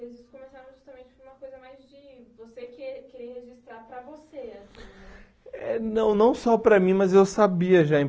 Registros começaram justamente por uma coisa mais de você que querer registrar para você assim né. Eh não não só para mim mas eu sabia já